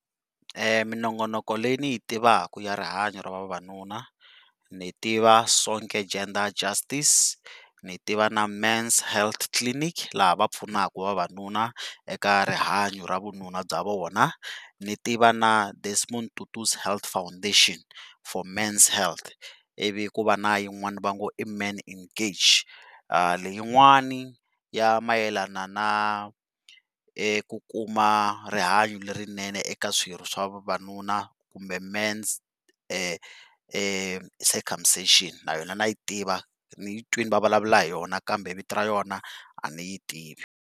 Minongonoko leyi ni yi tivaka ya rihanyo ra vavanuna ni tiva Sonke Gender Justice ni tiva na Men's Health Clinic laha va pfunaka vavanuna eka rihanyo ra vununa bya vona. Ni tiva na Desmond Tutu's Health Foundation For Men's Health iviv ku va na yin'wana va ngo i Men Engage leyin'wana ya mayelana na ku kuma rihanyo lerinene eka swirho swa vavanuna kumbe Men's circumcision na yona na yi tiva yi yi twile va vulavula hi yona kambe vito ra yona a ni yi tivi.